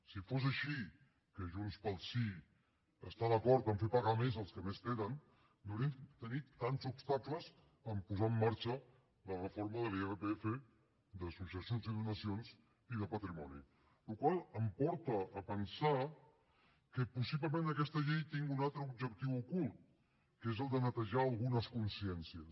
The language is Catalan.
si fos així que junts pel sí està d’acord a fer pagar més als que més tenen no haurien de tenir tants obstacles a posar en marxa la reforma de l’irpf de successions i donacions i de patrimoni la qual cosa em porta a pensar que possiblement aquesta llei tingui un altre objectiu ocult que és el de netejar algunes consciències